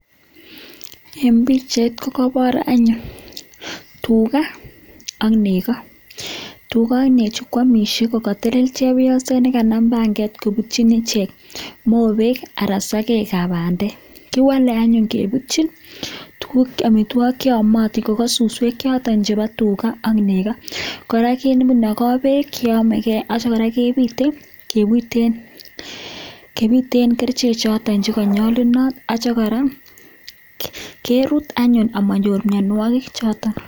en pichait kokobor anyun tuga ak nego tuga ak nechu koamishe kokotelel chepyoset nekanam panget kobutyin ichek mobek anan sokek kab bandek kiwole anyun kebutyin amitwogik che amotin ko kosuswek choton chepo tuga ak nego kora kinogoo beek cheomege ak kora kebit kebiten kerichek choton che konyolunot ak kora kerut anyun amonyor mionwokik.